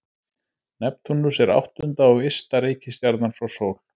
Neptúnus er áttunda og ysta reikistjarnan frá sól.